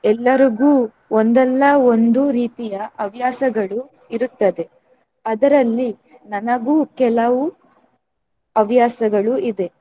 ಎಲ್ಲರಿಗೂ ಒಂದಲ್ಲ ಒಂದು ರೀತಿಯ ಹವ್ಯಾಸಗಳು ಇರುತ್ತದೆ ಅದರಲ್ಲಿ ನನಗೂ ಕೆಲವು ಹವ್ಯಾಸಗಳು ಇದೆ.